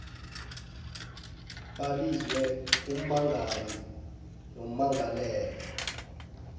babizwe ummangali nommangalelwa